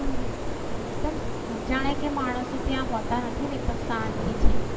હમ એકદમ જાણે કે માણસો ત્યાં હોતા નથી ને એકદમ શાંતિ છે.